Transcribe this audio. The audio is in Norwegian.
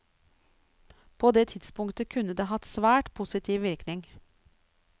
På det tidspunktet kunne det hatt svært positiv virkning.